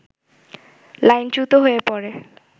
লাইনচ্যুত হয়ে পড়ে